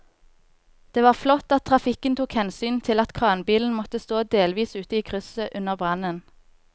Det var flott at trafikken tok hensyn til at kranbilen måtte stå delvis ute i krysset under brannen.